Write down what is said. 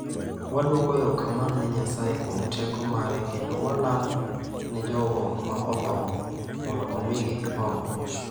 "Wadwoko erokamano ne Nyasaye kuom teko mare kendo walamo ne jogo ma otho mondo omigi horuok."""